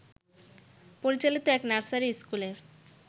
পরিচালিত এক নার্সারি স্কুলের